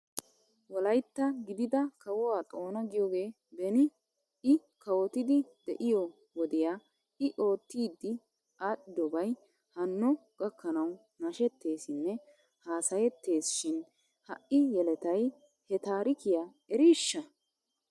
Wolaytta gidida kawuwaa xoona giyoogee beni i kawotidi de'iyoo wodiya i oottidi aadhdhidobay hanno gakkanaw nashetteesinne haasayettes shin ha'i yeletay he taarikiyaa eriishsha?